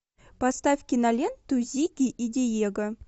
поставь киноленту зигги и диего